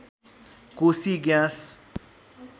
Koshi gas